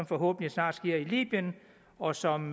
forhåbentlig snart sker i libyen og som